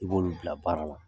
I b'olu bila baara la.